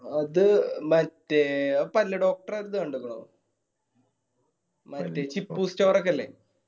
അത് മറ്റേ ആ പല്ല് doctor ഇത് കണ്ടിക്കണോ മറ്റേ chikku store ഒക്കെ ഇല്ലേ